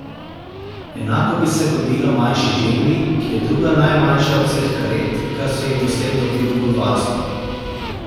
Enako bi se godilo manjši želvi, ki je druga najmanjša od vseh karet, kar so jih doslej dobil v varstvo.